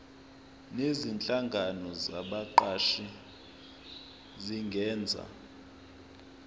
nezinhlangano zabaqashi zingenza